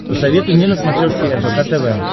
посоветуй мне на смотрешке рбк тв